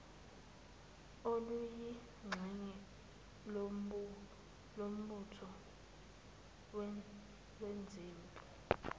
oluyingxenye yombutho wezempi